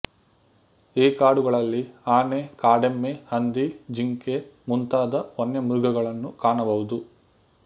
ಈ ಕಾಡುಗಳಲ್ಲಿ ಆನೆ ಕಾಡೆಮ್ಮೆ ಹಂದಿ ಜಿಂಕೆ ಮುಂತಾದ ವನ್ಯಮೃಗಗಳನ್ನು ಕಾಣಬಹುದು